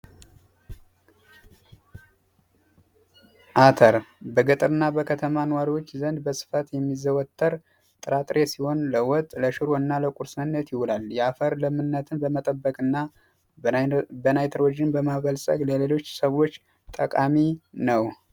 አተር በገጠርና በከተማ ሰዎች ዘንድ በስፋት የሚዘወትር ጥራጥሬ አይነት ሲሆን ለወጥ፣ ለሽሮና ለቁርስነት ይውላል። የአፈር ለምነትን ለመጠበቅና በናይትሮጅን በማበልፀግ ለሌሎች ሰዎች ጠቃሚ ነው።